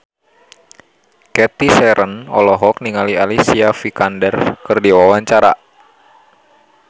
Cathy Sharon olohok ningali Alicia Vikander keur diwawancara